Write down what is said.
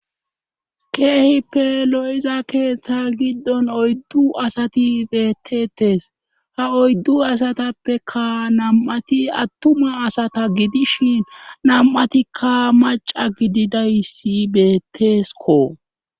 Keehippe lo7iza keeththa giddon oyddu asati beettetes ha oyddu asatappeka nam7ati attuma asata gidishin nam7atikka maca gididayssi beetteeskko